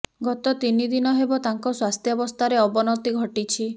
ଗତ ତିନି ଦିନ ହେବ ତାଙ୍କ ସ୍ୱାସ୍ଥ୍ୟାବସ୍ଥାରେ ଅବନତି ଘଟିଛି